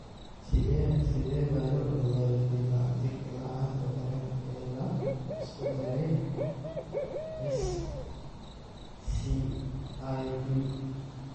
Sidee baa loo ogaadaa difaaca jirka la'aanta daran ee la isku daray (SCID)?